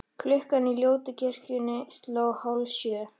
Klukkan í ljótu kirkjunni sló hálfsjö.